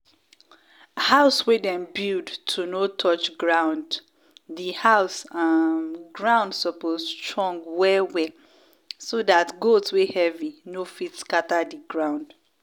house wey dem build to no touch grounddi house um ground suppose strong well well so dat goat wey heavy no fit scatter di ground.